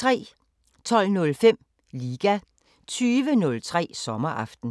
12:05: Liga 20:03: Sommeraften